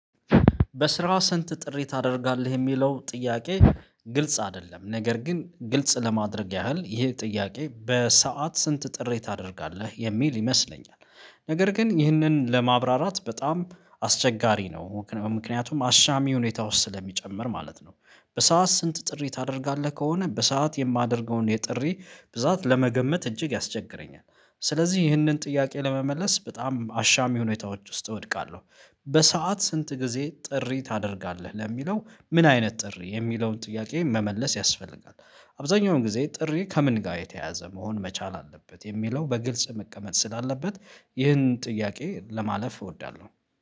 በስራ ሰንት ጥሪ ታደርጋለህ የሚለው ጥያቄ ግልጽ አይደለም ነገር ግን ግልጽ ለማድረግ ያህል ይሄ ጥያቄ በሰአት ስንት ጥሪ ታደርጋለህ የሚል ይመስለኛል ነገር ግን ይህንን ለማብራራት በጣም አስቸጋሪ ነው ምክንያቱም አሻሚ ሁኔታ ውስጥ ስለሚጨምር ማለት ነው። በሰአት ስንት ጥሪ ታደርጋለህ ከሆነ በሰአት የማደርገውን የጥሪ ብዛት ለመገመት እጅግ ያስቸግረኛል። ስለዚህ ይህንን ጥያቄ ለመመለስ በጣም አሻሚ ሁኔታዎች ውስጥ እወድቃለሁ። በሰአት ስንት ጊዜ ጥሪ ታደርጋለህ ለሚለው ምን አይነት ጥሪ የሚለውን ጥያቄ መመለስ ያስፈልጋል። አብዛኛውን ጊዜ ጥሪ ከምን ጋር የተያዘ መሆን መቻል አለበት የሚለው በግልጽ መቀመጥ ስላለበት። ይህንን ጥያቄ ለማለፍ እወዳለሁ